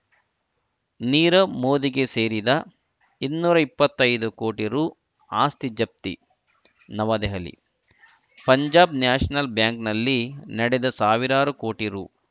ನೀರವ್‌ ಮೋದಿಹಯ ಸೇರಿದ ಇನ್ನೂರ ಇಪ್ಪತ್ತೈದು ಕೋಟಿ ರು ಆಸ್ತಿ ಜಪ್ತಿ ನವದೆಹಲಿ ಪಂಜಾಬ್‌ ನ್ಯಾಷನಲ್‌ ಬ್ಯಾಂಕಿನಲ್ಲಿ ನಡೆದ ಸಾವಿರಾರು ಕೋಟಿ ರು